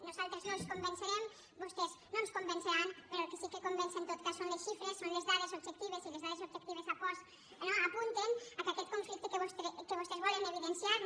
nosaltres no els convencerem vostès no ens convenceran però el que sí que convenç en tot cas són les xifres són les dades objectives i les dades objectives apunten que aquest conflicte que vostès volen evidenciar no